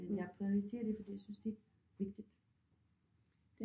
Men jeg prioriterer det fordi jeg synes det vigtigt